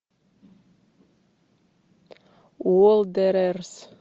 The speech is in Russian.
уондерерс